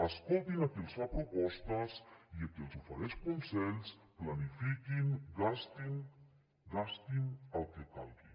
escoltin a qui els fa propostes i a qui els ofereix consells planifiquin gastin gastin el que calgui